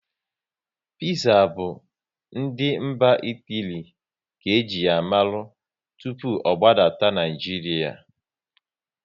Piza bụ ndị mba Itali ka eji ya mara tụpụ ọ gbadata n'Naijiria